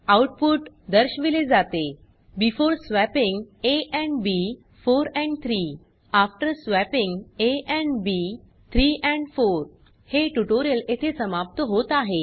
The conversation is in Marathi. आउटपुट दर्शविले जाते before swapping A and B 4 and 3 after swapping A and B 3 and 4 हे ट्यूटोरियल येथे समाप्त होत आहे